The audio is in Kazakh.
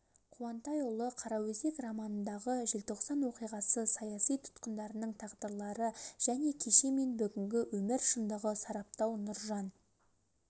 қуантайұлы қараөзек романындағы желтоқсан оқиғасы саяси тұтқындарының тағдырлары және кеше мен бүгінгі өмір шындығын сараптау нұржан